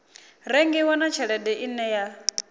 rengiwa na tshelede ine ya